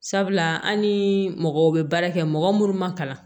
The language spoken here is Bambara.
Sabula an ni mɔgɔw bɛ baara kɛ mɔgɔ minnu ma kalan